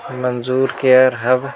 मंजूर care hub--